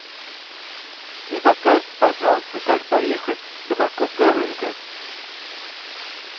не подскажите пожалуйста как доехать до московского рынка